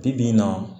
Bi bi in na